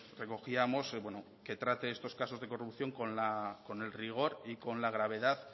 trate estos casos de corrupción con el rigor y con la gravedad